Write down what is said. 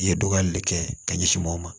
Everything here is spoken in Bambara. I ye dɔgɔyali le kɛ ka ɲɛsin mɔgɔw ma